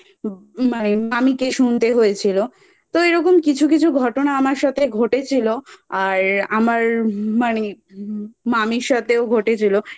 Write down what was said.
মা মামীকে শুনতে হয়েছিল তো এরকম কিছু কিছু ঘটনা আমার সাথে ঘটেছিলো আর আমার মানে মামীর সাথেও ঘটেছিলো